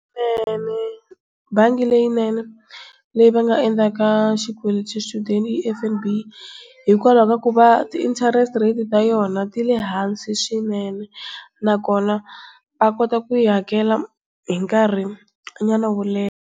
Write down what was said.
bangi leyinene leyi va nga endlaka xikweleti xa xichudeni i F_N_B hikwalaho ka ku va ti-interest-e rate ta yona ti le hansi swinene na kona va kota ku yi hakela hi nkarhi nyana wo leha.